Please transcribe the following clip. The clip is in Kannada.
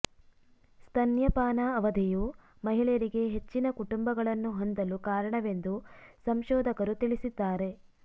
ಸ್ತನ್ಯಪಾನ ಅವಧಿಯು ಮಹಿಳೆಯರಿಗೆ ಹೆಚ್ಚಿನ ಕುಟುಂಬಗಳನ್ನು ಹೊಂದಲು ಕಾರಣವೆಂದು ಸಂಶೋಧಕರು ತಿಳಿಸಿದ್ದಾರೆ